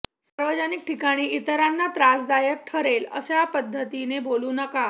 सार्वजनिक ठिकाणी इतरांना त्रासदायक ठरेल अशा पद्धतीने बोलू नका